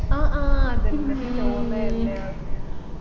ആ ആ അതെന്നെ ചോന്നതന്നെയാ